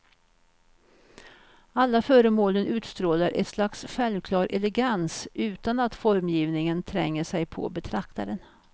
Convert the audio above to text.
Alla föremålen utstrålar ett slags självklar elegans, utan att formgivningen tränger sig på betraktaren.